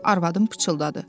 Arvadım pıçıldadı.